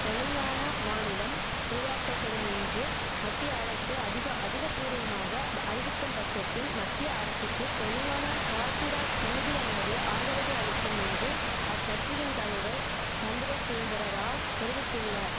தெலுங்கானா மாநிலம் உருவாக்கப்படும் என்று மத்திய அரசு அதிக அதிகப்பூர்வமாக அறிவிக்கும் பட்சத்தில் மத்திய அரசுக்கு தெலுங்கான ராஷ்டிரா சமிதியானது ஆதரவை அளிக்கும் என்று அக்கட்சியின் தலைவர் சந்திரசேகரராவ் தெரிவித்துள்ளார்